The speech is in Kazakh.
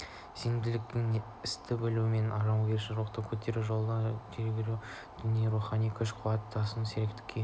сенімділікке істі білу мен жауынгерлік рухты көтеру арқылы қол жетеді жігерлендіру дегеніміз рухани күш беру күш-қуаттың тасуы сергектік күй